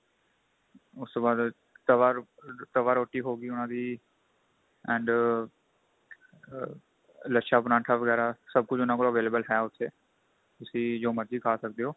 ਉਸ ਤੋਂ ਬਾਅਦ ਤਵਾ ਤਵਾ ਰੋਟੀ ਹੋ ਗਈ ਉਹਨਾ ਦੀ and ਆ ਲਛਾ ਪਰਾਂਠਾ ਵਗੈਰਾ ਸਭ ਕੁੱਝ ਉਹਨਾ ਕੋਲ available ਹੈ ਉੱਥੇ ਤੁਸੀਂ ਜੋ ਮਰਜੀ ਖਾ ਸਕਦੇ ਓ